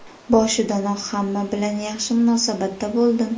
Boshidanoq hamma bilan yaxshi munosabatda bo‘ldim.